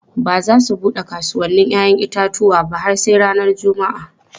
Ba za su bude kasuwannin 'ya'yan itatuwa ba har sai ranar Juma'a.